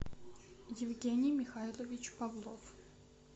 евгений михайлович павлов